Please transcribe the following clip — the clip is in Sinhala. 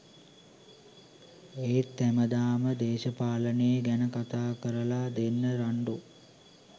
ඒත් හැමදාම දේශපාලනේ ගැන කතා කරල දෙන්න රන්ඩු